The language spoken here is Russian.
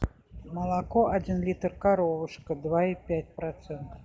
молоко один литр коровушка два и пять процентов